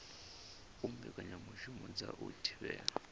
u mbekanyamushumo dza u thivhela